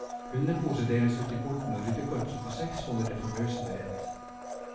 Hundeposer deles ut i porten, og ryddekorpset på seks holder det forbausende rent.